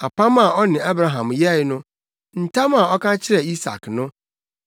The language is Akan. apam a ɔne Abraham yɛe no, ntam a ɔka kyerɛɛ Isak no.